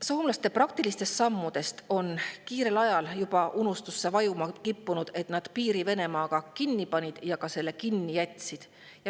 Soomlaste praktilistest sammudest on kiirel ajal kippunud juba unustusse vajuma see, et nad piiri Venemaaga kinni panid ja selle kinni jätsid.